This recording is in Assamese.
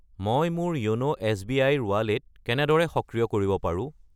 মই মোৰ য়োন' এছ.বি.আই. ৰ ৱালেট কেনেদৰে সক্ৰিয় কৰিব পাৰোঁ?